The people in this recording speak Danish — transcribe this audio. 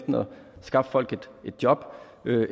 skaffe folk et job